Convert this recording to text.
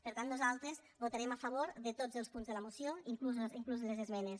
per tant nosaltres votarem a favor de tots els punts de la moció inclús les esmenes